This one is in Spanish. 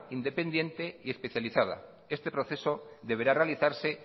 independiente y especializada este proceso deberá realizarse